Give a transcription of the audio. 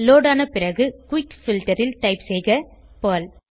load ஆன பிறகு quick filter ல் டைப் செய்க பெர்ல்